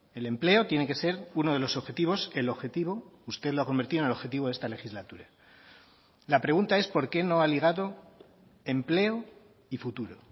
el empleo tiene que ser uno de los objetivos el objetivo usted lo ha convertido en el objetivo de esta legislatura la pregunta es por qué no ha ligado empleo y futuro